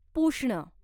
पुष्ण